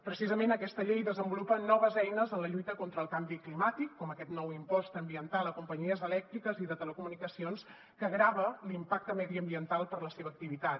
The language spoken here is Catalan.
precisament aquesta llei desenvolupa noves eines en la lluita contra el canvi climàtic com aquest nou impost ambiental a companyies elèctriques i de telecomunicacions que grava l’impacte mediambiental per la seva activitat